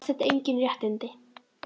Hafsteinn: Engin réttindi?